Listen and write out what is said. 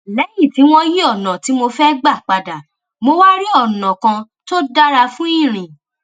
léyìn tí wón yí ònà tí mo fẹ gbà padà mo wá rí ònà kan tó dára fún ìrìn